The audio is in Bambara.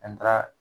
An ka